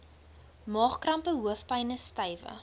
maagkrampe hoofpyne stywe